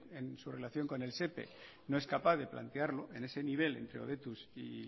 en su relación con el sepe no es capaz de plantearlo en ese nivel entre hobetuz y